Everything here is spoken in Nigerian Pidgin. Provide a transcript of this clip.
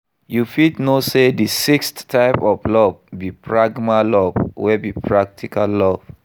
You fit know say di sixth type of love be pragma love wey be practical love.